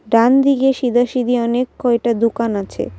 ডানদিকে সিদাসিধি অনেক কয়টা দুকান আছে।